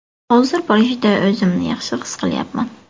Hozir Parijda o‘zimni yaxshi his qilyapman.